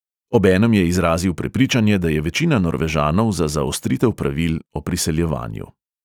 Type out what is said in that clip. Obenem je izrazil prepričanje, da je večina norvežanov za zaostritev pravil o priseljevanju.